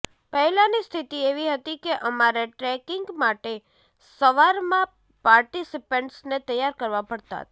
પહેલાંની સ્થિતિ એવી હતી કે અમારે ટ્રેકિંગ માટે સવારમાં પાર્ટિસિપન્ટને તૈયાર કરવા પડતા હતા